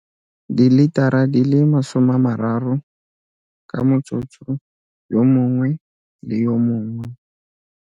Dilitara di le 30 ka motsotso yo mongwe le yo mongwe.